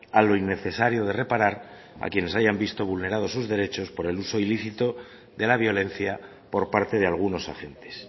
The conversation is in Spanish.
a lo innecesario de reparar a quienes hayan visto vulnerados sus derechos por el uso ilícito de la violencia por parte de algunos agentes